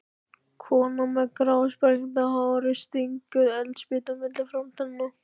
Konan með grásprengda hárið stingur eldspýtu milli framtannanna.